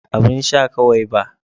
Abun sha kawai ba.